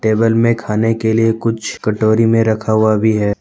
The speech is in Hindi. में खाने के लिए कुछ कटोरी में रखा हुआ भी है।